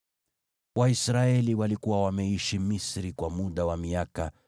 Waisraeli walikuwa wameishi Misri kwa muda wa miaka 430.